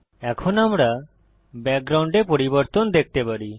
এখন আমরা ব্যাকগ্রাউন্ডে পরিবর্তন দেখতে পারি